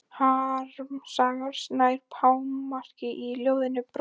Harmsagan nær hámarki í ljóðinu Brotinn spegill.